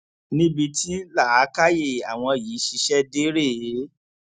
níbi tí làákàyè àwọn yìí ṣiṣẹ dé rèé